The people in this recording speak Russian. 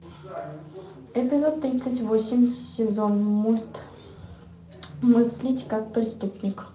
эпизод тридцать восемь сезон мульт мыслить как преступник